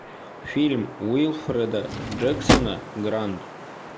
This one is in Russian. фильм уилфреда джексона гранд